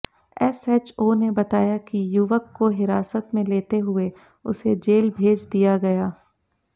SHO ने बताया कि युवक को हिरासत में लेते हुए उसे जेल भेज दिया गया